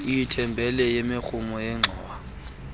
itheybhile yemirhumo yengxowa